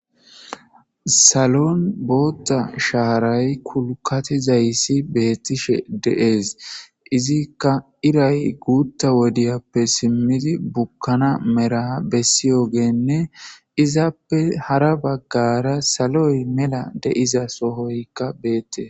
salon bootta shaaray kulkati zayssi beettishe de'es, izikka iray guutta wodiyappe simmidi bukkana mera bessiyo geenne izappe hara baggara saloy mela de'iza sohoykka beettes